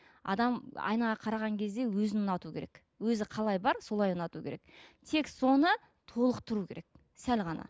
адам айнаға қараған кезде өзін ұнату керек өзі қалай бар солай ұнату керек тек соны толықтыру керек сәл ғана